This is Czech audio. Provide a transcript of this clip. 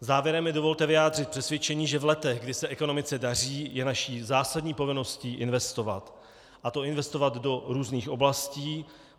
Závěrem mi dovolte vyjádřit přesvědčení, že v letech, kdy se ekonomice daří, je naší zásadní povinností investovat, a to investovat do různých oblastí.